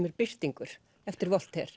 er Birtingur eftir